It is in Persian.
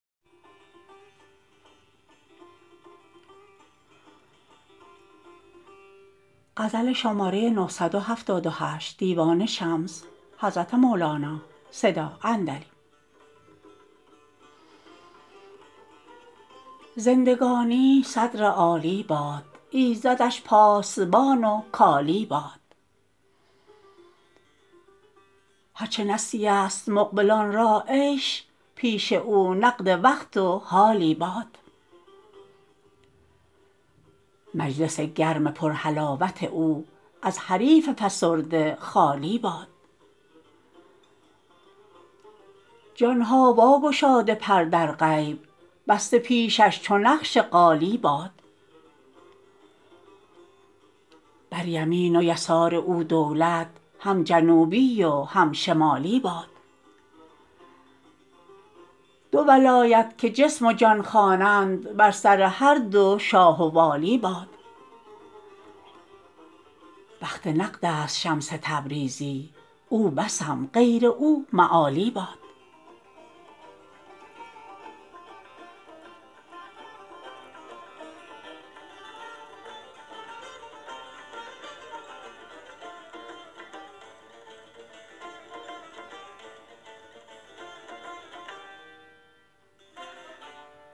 زندگانی صدر عالی باد ایزدش پاسبان و کالی باد هر چه نسیه ست مقبلان را عیش پیش او نقد وقت و حالی باد مجلس گرم پرحلاوت او از حریف فسرده خالی باد جان ها واگشاده پر در غیب بسته پیشش چو نقش قالی باد بر یمین و یسار او دولت هم جنوبی و هم شمالی باد دو ولایت که جسم و جان خوانند بر سر هر دو شاه و والی باد بخت نقدست شمس تبریزی او بسم غیر او مآلی باد